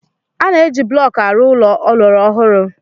A na-eji blọk arụ ụlọ ọlọrọ ọhụrụ.